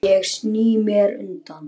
Ég sný mér undan.